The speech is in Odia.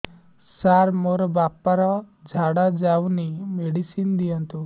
ସାର ମୋର ବାପା ର ଝାଡା ଯାଉନି ମେଡିସିନ ଦିଅନ୍ତୁ